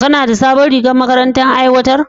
Kana da sabon rigar da makarantar ta aiwatar?